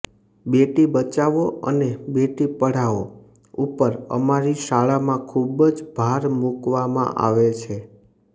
બેટી બચાવો અને બેટી પઢાઓ ઉપર અમારી શાળામાં ખુબ જ ભાર મુકવામાં આવે છે